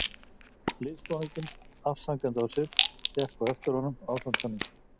Liðsforinginn, afsakandi á svip, gekk á eftir honum ásamt mönnum sínum.